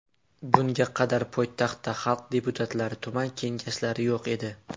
Bunga qadar poytaxtda xalq deputatlari tuman kengashlari yo‘q edi.